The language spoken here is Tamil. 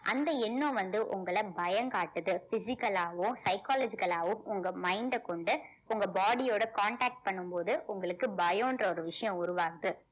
அந்த எண்ணம் வந்து உங்களை பயம் காட்டுது physical ஆவும் psychological ஆவும் உங்க mind அ கொண்டு உங்க body யோட contact பண்ணும் போது உங்களுக்கு பயம்ன்ற ஒரு விஷயம் உருவாகுது